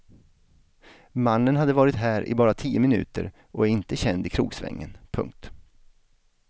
Mannen hade varit här i bara tio minuter och är inte känd i krogsvängen. punkt